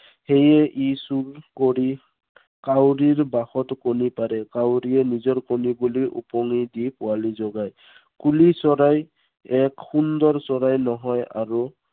সেয়ে ই চোৰ কৰি, কাউৰীৰ বাঁহত কণী পাৰে। কাউৰীয়ে নিজৰ কণী বুলি উপঙি দি পোৱালী জগায়। কুলি চৰাই, এক সুন্দৰ চৰাই নহয় আৰু